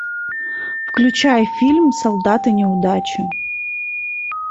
включай фильм солдаты неудачи